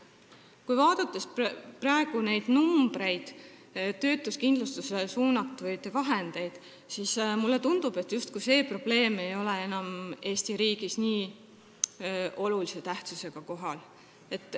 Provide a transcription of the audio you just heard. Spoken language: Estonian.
Kui vaadata praegu töötuskindlustusse suunatavaid vahendeid, siis mulle tundub, justkui see probleem ei oleks enam Eesti riigis nii olulise tähtsusega kohal.